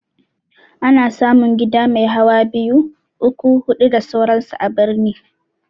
Ana samun gida mai hawa biyu, uku, hudu da sauran su a birni